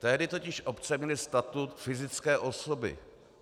Tehdy totiž obce měly statut fyzické osoby.